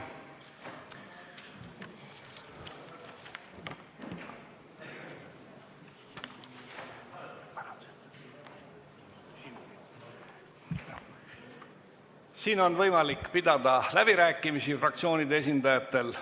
Nüüd on võimalik pidada läbirääkimisi fraktsioonide esindajatel.